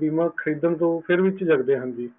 ਬੀਮਾ ਖਰੀਦਧਣ ਤੋਹ ਚੀਜਕਦੇ ਹਨ ਜੀ